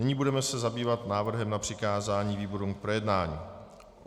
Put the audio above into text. Nyní se budeme zabývat návrhem na přikázání výborům k projednání.